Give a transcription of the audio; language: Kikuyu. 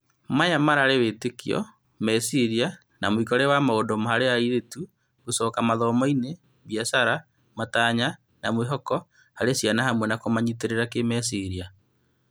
Maya mararĩ wĩtĩkio, meciria na mũĩkĩre wa maũndũ harĩ airĩtu, gũcoka mathomo-inĩ, biacara, matanya, na mwĩhoko harĩ ciana hamwe na kũmanyitĩrĩra kĩmeciria.